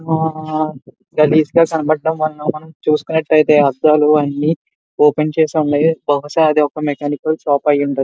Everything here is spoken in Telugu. ఆ గలీజ్ గ కనపడడం వలన మనం చూసుకున్నటైతే అద్దాలు అయన్ని ఓపెన్ చేసి ఉన్నాయ్ బహుశ అదొక మెకానికల్ షాప్ అయి ఉండొచ్చు.